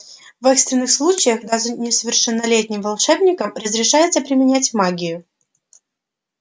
в экстренных случаях даже несовершеннолетним волшебникам разрешается применять магию